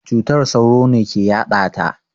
Cutar sauro ne ke yaɗata.